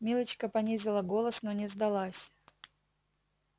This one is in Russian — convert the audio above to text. милочка понизила голос но не сдалась